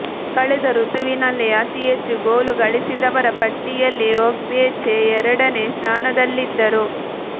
ಕಳೆದ ಋತುವಿನಲ್ಲಿ ಅತಿಹೆಚ್ಚು ಗೋಲು ಗಳಿಸಿದವರ ಪಟ್ಟಿಯಲ್ಲಿ ಒಗ್ಬೇಚೆ ಎರಡನೇ ಸ್ಥಾನದಲ್ಲಿದ್ದರು